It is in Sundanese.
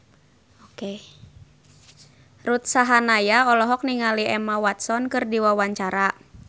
Ruth Sahanaya olohok ningali Emma Watson keur diwawancara